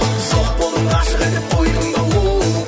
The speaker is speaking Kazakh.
жоқ болдың ғашық етіп қойдың да оу